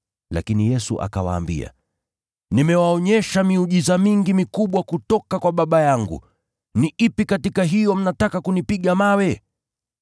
lakini Yesu akawaambia, “Nimewaonyesha miujiza mingi mikubwa kutoka kwa Baba yangu. Ni ipi katika hiyo mnataka kunipiga mawe?”